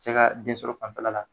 Cɛ ka den solo fan fɛla la.